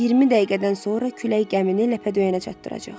20 dəqiqədən sonra külək gəmini ləpə döyənə çatdıracaq.